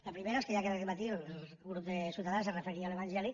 la primera és que ja aquest matí el grup de ciutadans es referia a l’evangeli